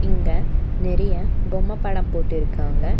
இங்க நெறைய பொம்மை படம் போட்டுருக்காங்க.